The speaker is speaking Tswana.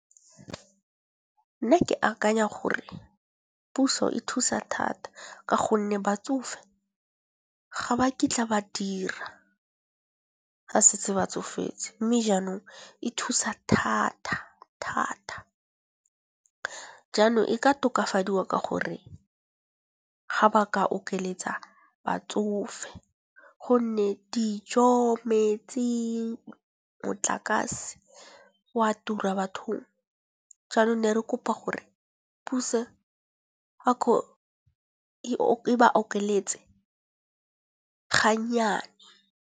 Nna ke akanya gore puso e thusa thata, ka gonne batsofe ga ba kitla ba dira ga setse ba tsofetse, mme jaanong e thusa thata-thata. Jaanong e ka tokafadiwa ka gore ga ba ka okeletsa batsofe, gonne dijo, metsi, motlakase wa tura bathong!. Jaanong ne re kopa gore puso e ba okeletse ga nnyane.